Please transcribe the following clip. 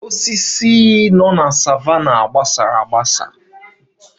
A na-agbasa osisi na savannah